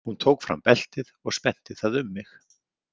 Hún tók fram beltið og spennti það um mig.